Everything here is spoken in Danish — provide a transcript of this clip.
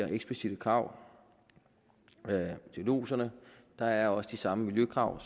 eksplicitte krav til lodserne der er også de samme miljøkrav